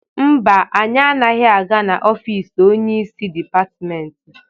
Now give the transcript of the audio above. Mba, anyị anaghị aga ofisi onyeisi dịpatịmentị.